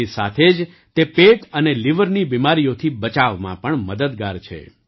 તેની સાથે જ તે પેટ અને લીવરની બીમારીઓથી બચાવમાં પણ મદદગાર છે